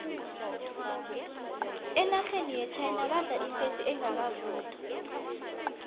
enarheni yechina badla ifesi engakavuthwa